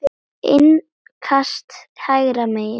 Innkast hægra megin.